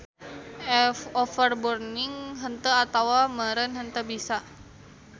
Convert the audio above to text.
Overburning henteu atawa meureun henteu bisa.